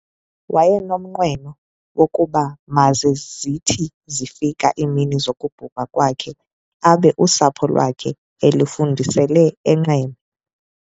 Wayenomnweno wokuba maze zithi zifika iimini zokubhubha kwakhe, abe usapho lwakhe elufudusele eQeme.